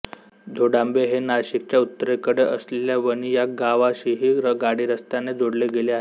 धोडांबे हे नाशिकच्या उत्तरेकडे असलेल्या वणी या गावाशीही गाडीरस्त्याने जोडले गेले आहे